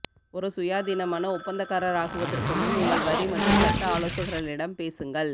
ஒரு சுயாதீனமான ஒப்பந்தக்காரராகுவதற்கு முன் உங்கள் வரி மற்றும் சட்ட ஆலோசகர்களிடம் பேசுங்கள்